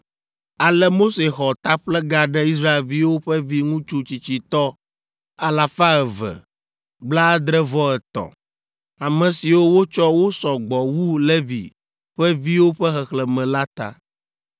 Ale Mose xɔ taƒlega ɖe Israelviwo ƒe viŋutsu tsitsitɔ alafa eve, blaadre-vɔ-etɔ̃, ame siwo wotsɔ wosɔ gbɔ wu Levi ƒe viwo ƒe xexlẽme la ta.